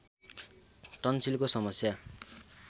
टन्सिलको समस्या